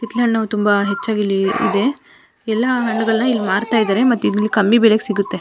ಕಿತ್ಲೆ ಹಣ್ಣು ತುಂಬಾ ಹೆಚ್ಚಾಗಿ ಇಲ್ಲಿ ಇದೆ ಎಲ್ಲ ಹಣ್ಣುಗಳನ್ನ ಇಲ್ಲಿ ಮಾರ್ತಾ ಇದ್ದರೆ ಮತ್ತೆ ಇಲ್ಲಿ ಕಮ್ಮಿ ಬೆಲೆಗೆ ಸಿಗುತ್ತೆ .